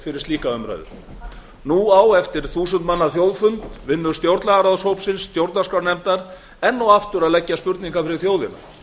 fyrir öfugsnúna stjórnmálaumræðu nú á eftir þúsund manna þjóðfund vinnu stjórnlagaráðshópsins og stjórnarskrárnefndar enn og aftur að leggja spurningar fyrir þjóðina